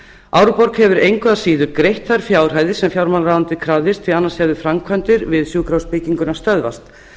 árborg hefur engu að síður greitt þær fjárhæðir sem fjármálaráðuneytið krafðist því annars hefðu framkvæmdir við sjúkrahúsbygginguna stöðvast